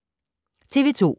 TV 2